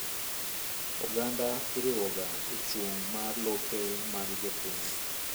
Oganda iriwoga echung' mar lope mag jopiny.